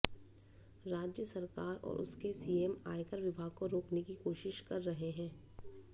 राज्य सरकार और उसके सीएम आयकर विभाग को रोकने की कोशिश कर रहे हैं